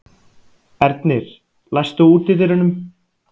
Ernir, læstu útidyrunum.